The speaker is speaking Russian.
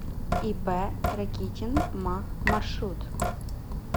ип ракитин ма маршрут